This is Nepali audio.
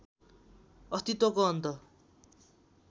अस्तित्वको अन्त